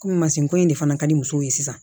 Komi masini ko in de fana ka di musow ye sisan